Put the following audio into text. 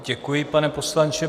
Děkuji, pane poslanče.